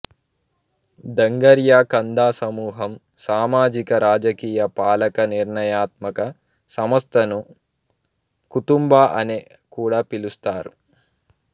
డంగరియా కంధా సమూహం సామాజికరాజకీయ పాలక నిర్ణయాత్మక సంస్థను కుతుంబ అని కూడా పిలుస్తారు